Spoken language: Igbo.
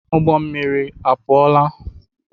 ụgbọ mmiri apụọla?